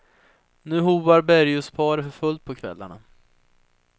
Nu hoar berguvsparet för fullt på kvällarna.